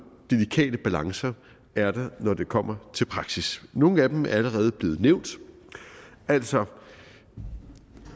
delikate balancer er der når det kommer til praksis nogle af dem er allerede blevet nævnt altså